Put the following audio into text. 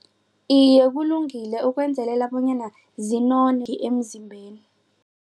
Iye, kulungile ukwenzelela bonyana emzimbeni.